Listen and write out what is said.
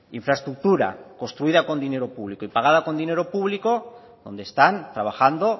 infraestructura construida con dinero público y pagada con dinero público donde están trabajando